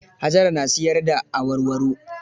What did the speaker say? Hajara na siyar da awarwaro.